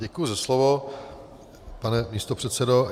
Děkuji za slovo, pane místopředsedo.